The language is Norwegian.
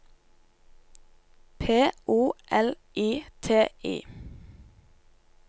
P O L I T I